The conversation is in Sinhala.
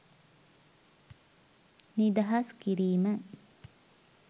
නිදහස් කිරීම.